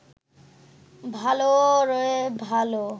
ভালোরে ভালো